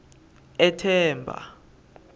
ethemba